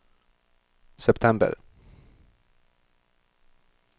september